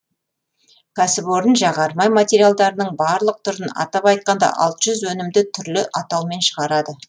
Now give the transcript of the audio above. кәсіпорын жағармай материалдарының барлық түрін атап айтқанда алты жүз өнімді түрлі атаумен шығарады